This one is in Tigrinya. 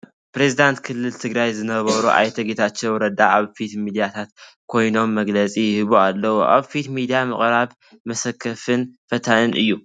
ፕሬዝደንት ክልል ትግራይ ዝነበሩ ኣይተ ጌታቸው ረዳ ኣብ ፊት ሚድያታት ኮይኖም መግለፂ ይህቡ ኣለዉ፡፡ ኣብ ፊት ሚድያ ምቕራብ መሰከፍን ፈታንን እዩ፡፡